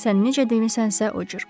Sən necə demisənsə o cür.